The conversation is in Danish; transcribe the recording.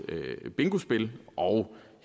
bingospil og